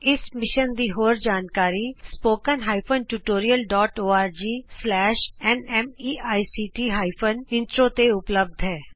ਇਸ ਮਿਸ਼ਨ ਦੀ ਹੋਰ ਜਾਣਕਾਰੀ spoken hyphen tutorial dot O R G slash N MEICT hyphen intro ਤੇ ਉਪਲੱਭਧ ਹੈ